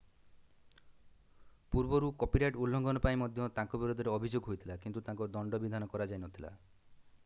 ପୂର୍ବରୁ କପିରାଇଟ୍ ଉଲ୍ଲଂଘନ ପାଇଁ ମଧ୍ୟ ତାଙ୍କ ବିରୋଧରେ ଅଭିଯୋଗ ହୋଇଥିଲା କିନ୍ତୁ ତାଙ୍କୁ ଦଣ୍ଡବିଧାନ କରାଯାଇ ନ ଥିଲା